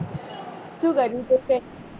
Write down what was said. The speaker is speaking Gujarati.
શું કર્યું તે કે